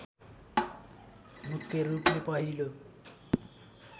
मुख्य रूपले पहिलो